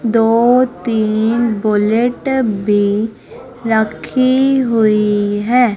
दो तीन बुलेट भी रखी हुई है।